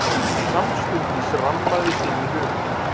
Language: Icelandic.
Samstundis rammaðist inn í huga